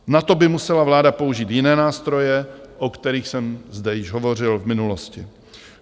Na to by musela vláda použít jiné nástroje, o kterých jsem zde již hovořil v minulosti.